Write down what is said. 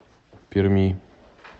перми